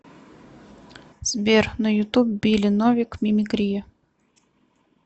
сбер на ютуб билли новик мимикрия